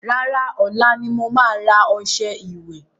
Rárá, ọ̀la ni mo ma rà ọṣẹ ìwẹ̀